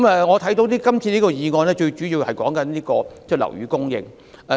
我看到今次的議案最主要是討論樓宇供應。